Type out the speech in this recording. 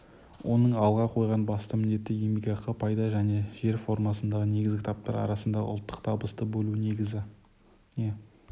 оның алға қойған басты міндеті еңбекақы пайда және жер формасындағы негізгі таптар арасындағы ұлттық табысты бөлу негізіне